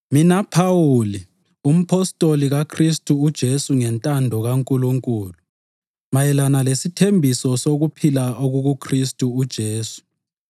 Mina Phawuli, umpostoli kaKhristu uJesu ngentando kaNkulunkulu, mayelana lesithembiso sokuphila okukuKhristu uJesu,